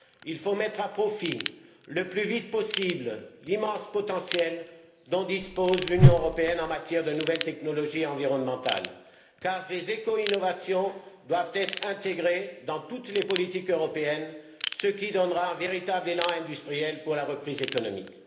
Il faut mettre à profit, le plus vite possible, l'immense potentiel dont dispose l'Union européenne en matière de nouvelles technologies environnementales car ces éco innovations doivent être intégrées dans toutes les politiques européennes, ce qui donnera un véritable élan industriel pour la reprise économique.